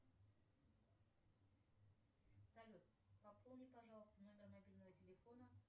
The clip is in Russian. салют пополни пожалуйста номер мобильного телефона